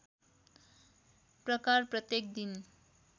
प्रकार प्रत्येक दिन